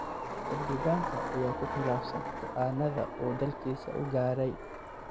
Xildhibaanka ayaa ku khilaafsan go’aannada uu dalkiisa u gaaray.